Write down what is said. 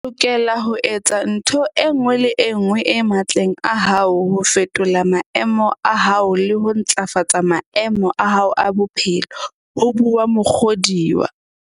"O lokela ho etsa ntho e nngwe le e nngwe e matleng a hao ho fetola maemo a hao le ho ntlafatsa maemo a bophelo ba hao," ho bua Muk hodiwa.